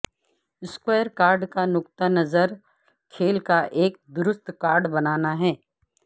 score card کا نقطہ نظر کھیل کا ایک درست ریکارڈ بنانا ہے